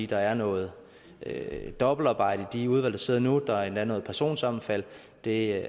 der er noget dobbeltarbejde i de udvalg der sidder nu der er endda noget personsammenfald og det